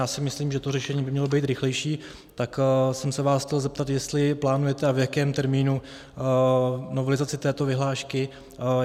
Já si myslím, že to řešení by mělo být rychlejší, tak jsem se vás chtěl zeptat, jestli plánujete a v jakém termínu novelizaci této vyhlášky.